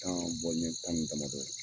Tan ɲɛ tan ni damadɔ ye